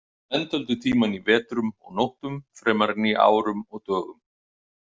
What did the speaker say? Menn töldu tímann í vetrum og nóttum fremur en í árum og dögum.